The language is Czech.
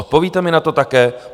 Odpovíte mi na to také?